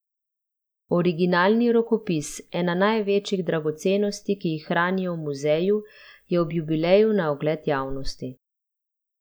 Originalni rokopis, ena največjih dragocenosti, ki jih hranijo v muzeju, je ob jubileju na ogled javnosti.